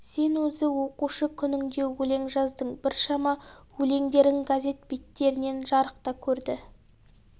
сен өзі оқушы күніңде өлең жаздың біршама өлеңдерің газет беттерінен жарық та көрді